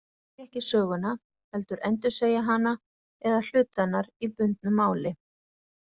Skáldin semja ekki söguna heldur endursegja hana eða hluta hennar í bundnu máli.